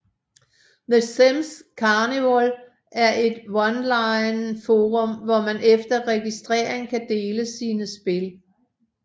The Sims Carnival er et onlineforum hvor man efter registrering kan dele sine spil